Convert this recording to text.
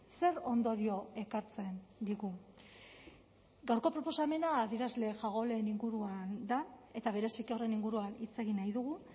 zer ondorio ekartzen digu gaurko proposamena adierazle jagoleen inguruan da eta bereziki horren inguruan hitz egin nahi dugu